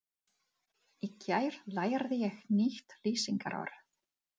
Í gær lærði ég nýtt lýsingarorð.